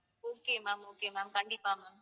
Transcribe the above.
okay ma'am okay ma'am கண்டிப்பா ma'am